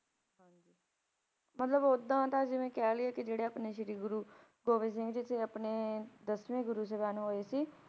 ਮਤਲਬ ਓਦਾਂ ਤਾਂ ਜਿਵੇਂ ਕਹਿ ਲਈਏ ਕਿ ਜਿਹੜੇ ਆਪਣੇ ਸ੍ਰੀ ਗੁਰੂ ਗੋਬਿੰਦ ਸਿੰਘ ਜੀ ਸੀ, ਆਪਣੇ ਦਸਵੇਂ ਗੁਰੂ ਸਾਹਿਬਾਨ ਹੋਏ ਸੀ,